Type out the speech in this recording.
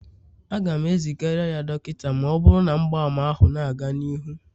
Aga m ezigara ya dọkịta ma ọ bụrụ na mgbaàmà ahụ na-aga n'ihu